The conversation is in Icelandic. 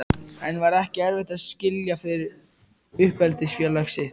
En var ekki erfitt að skilja við uppeldisfélag sitt?